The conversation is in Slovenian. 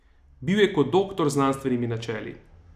Bil je kot doktor z znanstvenimi načeli.